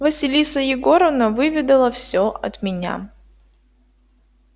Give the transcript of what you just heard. василиса егоровна выведала все от меня